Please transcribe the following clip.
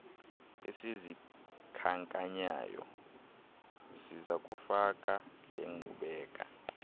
esizikhankanyayo sizakufaka lenkqubela